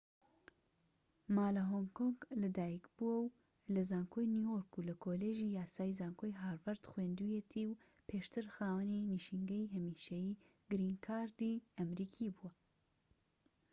ما لە هۆنگ کۆنگ لە دایک بووە و لە زانکۆی نیویۆرك و لە کۆلیژی یاسای زانکۆی هارڤەرد خوێندوویەتی و پێشتر خاوەنی نشینگەی هەمیشەیی گرین کارد"ی ئەمەریکی بووە